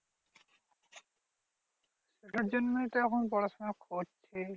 ওটার জন্যই তো এখন পড়াশোনা করছি।